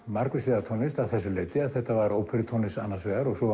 margvíslega tónlist að þessu leyti að þetta var óperutónlist annars vegar og svo